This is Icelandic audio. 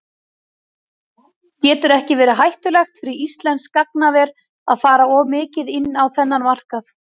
Getur ekki verið hættulegt fyrir íslenskt gagnaver að fara of mikið inn á þennan markað?